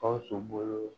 Gawusu bolo